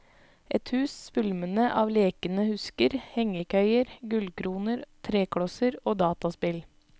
Et hus svulmende av lekende husker, hengekøyer, gullkroner, treklosser og dataspill.